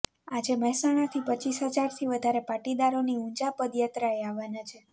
આજે મહેસાણાથી રપ હજારથી વધારે પાટીદારોની ઊંઝા પદયાત્રાએ આવવાના છે